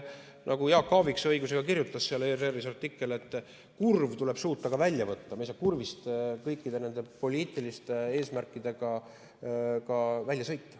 Nagu Jaak Aaviksoo õigusega ERR‑i artiklis kirjutas, et kurv tuleb suuta ka välja võtta, me ei saa kurvist koos kõikide nende poliitiliste eesmärkidega välja sõita.